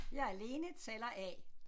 Jeg er Lene taler A